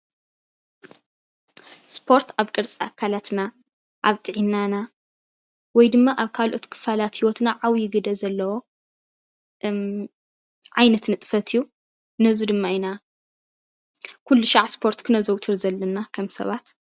ስፖርት አብ ቅርፂ አካላትና አብ ጥዕናና ወይ ድማ አብ አብ ካልኦት ክፋላት ህይወትና ዓብዪ ግደ ዘለዎ ዓይነት ንጥፈት እዩ። ነዚ ድማ ኢና ኩልሻዕ ስፖርት ክነዘዉትር ዘለና ከም ሰባት ።